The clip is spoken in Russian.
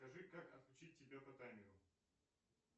скажи как отключить тебя по таймеру